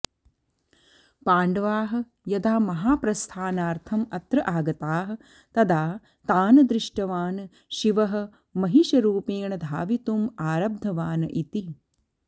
पाण्डवाः यदा महाप्रस्थानार्थम् अत्र आगताः तदा तान् दृष्टवान् शिवः महिषरूपेण धावितुम् आरब्धवान् इति